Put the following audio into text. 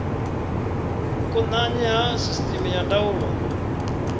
vhukonanyi ha sisteme ya ndaulo